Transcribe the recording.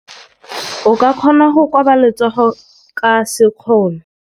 O ka kgona go koba letsogo ka sekgono.